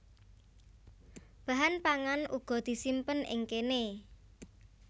Bahan pangan uga disimpen ing kéné